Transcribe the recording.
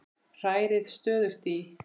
Hrærið stöðugt í.